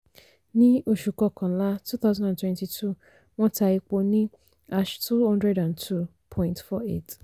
ní oṣù kọkànlá twenty twenty two wọ́n ta epo ní ash two hundred and two point four eight